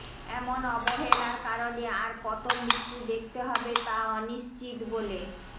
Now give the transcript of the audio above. এমন অবহেলার কারণে আর কত মৃত্যু দেখতে হবে তা অনিশ্চিত বলে